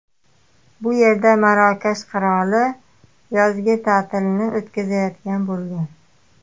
Bu yerda Marokash qiroli yozgi ta’tilni o‘tkazayotgan bo‘lgan.